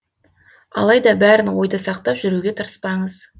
алайда бәрін ойда сақтап жүруге тырыспаңыз